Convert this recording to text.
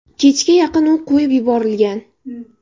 Kechga yaqin u qo‘yib yuborilgan.